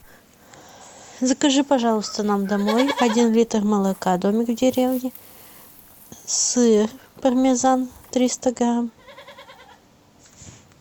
закажи пожалуйста нам домой один литр молока домик в деревне сыр пармезан триста грамм